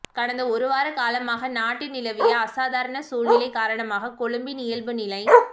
கடந்த ஒருவார காலமாக நாட்டில் நிலவிய அசாதாரண சூழ்நிலை காரணமாக கொழும்பின் இயல்பு நிலை